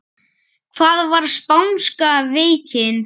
Hvað var spánska veikin?